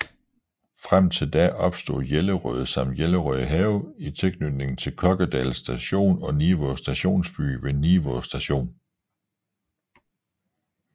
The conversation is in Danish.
Frem til da opstod Jellerød samt Jellerød Have i tilknytning til Kokkedal Station og Nivå stationsby ved Nivå Station